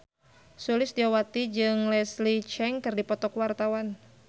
Sulistyowati jeung Leslie Cheung keur dipoto ku wartawan